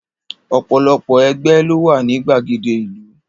Ọ̀pọ̀lọpọ̀ ẹgbẹ́ ló wà ní gbàgede ìlú.